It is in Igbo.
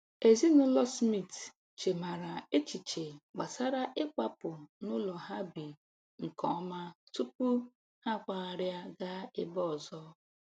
Ezinụlọ Smith chemara echiche gbasara ịkwapụ n'ụlọ ha bi nke ọma tupu ha akwagharịa gaa ebe ọzọ